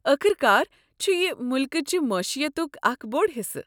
ٲخٕر کار، چھُ یہِ ملکچہٕ معیشتُک اکھ بوٚڑ حصہٕ۔